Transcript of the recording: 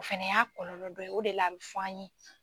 O fɛnɛ y'a kɔlɔlɔ dɔ ye, o de la a bɛ fɔ an ye.